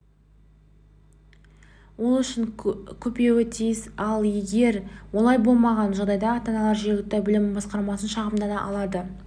ол үшін көпеуі тиіс ал егер олай болмаған жағдайда ата-аналар жергілікті білім басқармасына шағымдана алады